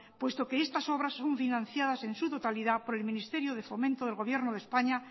puesto que estas obras son financiadas en su totalidad por el ministerio de fomento del gobierno de españa